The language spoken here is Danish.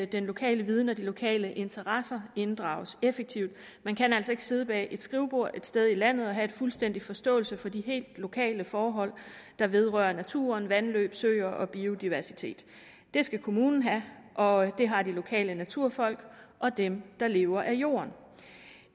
den lokale viden og de lokale interesser inddrages effektivt man kan altså ikke sidde bag et skrivebord et sted i landet og have fuldstændig forståelse for de helt lokale forhold der vedrører naturen vandløb søer og biodiversitet det skal kommunen have og det har de lokale naturfolk og dem der lever af jorden